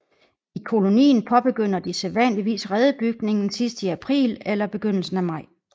I kolonien påbegynder de sædvanligvis redebygningen sidst i april eller begyndelsen af maj